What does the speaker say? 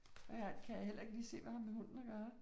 Ja, det kan jeg heller ikke lige se, hvad med hunden at gøre